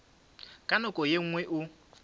ka nako ye nngwe o